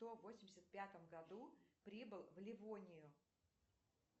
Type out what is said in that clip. кто в восемьдесят пятом году прибыл в ливонию